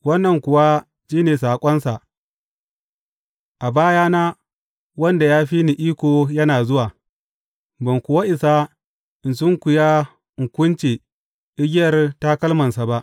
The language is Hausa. Wannan kuwa shi ne saƙonsa, A bayana, wanda ya fi ni iko yana zuwa, ban kuwa isa in sunkuya in kunce igiyar takalmansa ba.